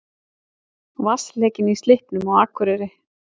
Vatnsleki í Slippnum á Akureyri